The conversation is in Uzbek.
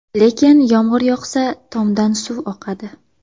Lekin yomg‘ir yoqsa, tomdan suv oqadi.